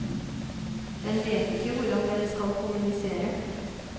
Den vet ikke hvordan den skal kommunisere.